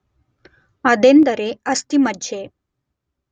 ಅದೆಂದರೆ ಅಸ್ಥಿಮಜ್ಜೆ